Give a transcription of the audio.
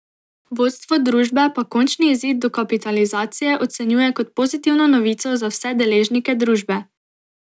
Vodstvo družbe pa končni izid dokapitalizacije ocenjuje kot pozitivno novico za vse deležnike družbe.